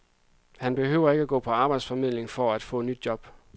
Han behøver ikke gå på arbejdsformidlingen for at få nyt job.